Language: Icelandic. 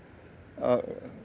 að